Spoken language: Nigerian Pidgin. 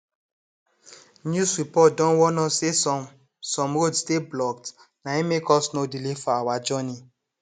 news report don warn us say some some roads dey blocked na im make us nor delay for our journey